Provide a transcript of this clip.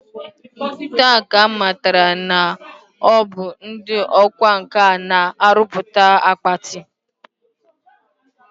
Taa ka m matara na ọ bụ ndị ọkwa nkà na-arụpụta akpati